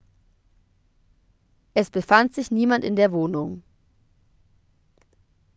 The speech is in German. es befand sich niemand in der wohnung